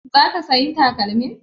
Za ka sayi takalmin?